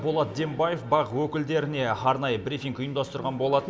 болат дембаев бақ өкілдеріне арнайы брифинг ұйымдастырған болатын